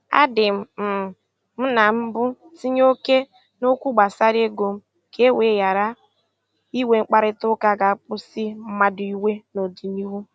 A dị um m na mbụ tinye oke n'okwu gbasara ego m, ka e wee ghara inwe mkparịtaụka ga- akpasu mmadụ iwe n'ọdịnihu.